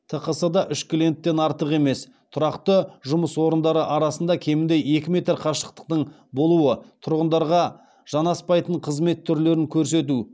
тқс да үш клиенттен артық емес тұрақты жұмыс орындары арасында кемінде екі метр қашықтықтың болуы тұрғындарға жанаспайтын қызмет түрлерін көрсету